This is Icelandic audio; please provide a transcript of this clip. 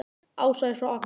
Ása er frá Akureyri.